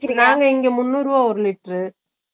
இது நாங்க இங்க முண்ணூறு ரூபா ஒரு லிட்டர் உ